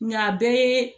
Nka a bɛɛ ye